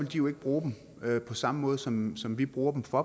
de jo ikke bruge dem på samme måde som som vi bruger dem for